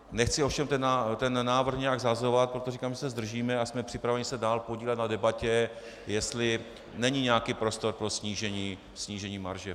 Nechci ovšem ten návrh nějak shazovat, proto říkám, že se zdržíme a jsme připraveni se dál podílet na debatě, jestli není nějaký prostor pro snížení marže.